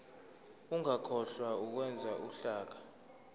ungakhohlwa ukwenza uhlaka